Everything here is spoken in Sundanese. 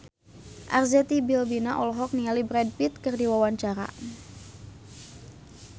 Arzetti Bilbina olohok ningali Brad Pitt keur diwawancara